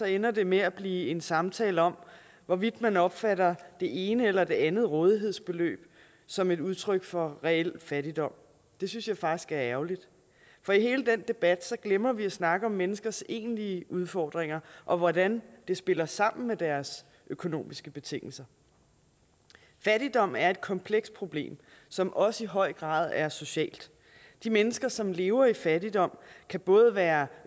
ender det med at blive en samtale om hvorvidt man opfatter det ene eller det andet rådighedsbeløb som et udtryk for reel fattigdom det synes jeg faktisk er ærgerligt for i hele den debat glemmer vi at snakke om menneskers egentlige udfordringer og hvordan det spiller sammen med deres økonomiske betingelser fattigdom er et komplekst problem som også i høj grad er socialt de mennesker som lever i fattigdom kan både være